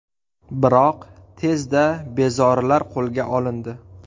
Biroq, tezda bezorilar qo‘lga olindi.